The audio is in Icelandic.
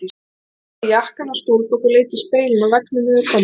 Ég hengdi jakkann á stólbak og leit í spegilinn á veggnum yfir kommóðunni.